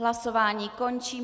Hlasování končím.